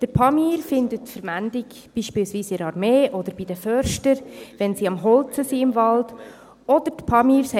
Der «Pamir» findet beispielsweise in der Armee oder bei den Förstern Verwendung, wenn sie im Wald am Holzfällen sind.